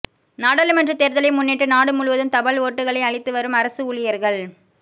நாடாளுமன்ற தேர்தலை முன்னிட்டு நாடு முழுவதும் தபால் ஓட்டுகளை அளித்து வரும் அரசு ஊழியர்கள்